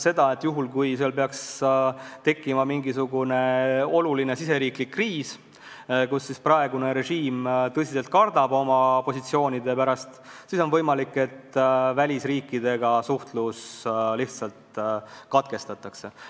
See tähendab seda, et kui seal peaks tekkima mingisugune suur riigisisene kriis, mille tõttu praegune režiim tõsiselt kardaks oma positsioonide pärast, siis vahest välisriikidega suhtlus lihtsalt katkestatakse.